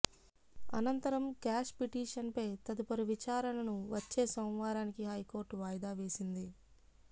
అనంతరం క్వాష్ పిటిషన్పై తదుపరి విచారణను వచ్చే సోమవారానికి హైకోర్టు వాయిదా వేసింది